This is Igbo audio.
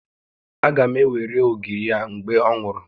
Aga m ewere ogiri a mgbe ọ nwụrụ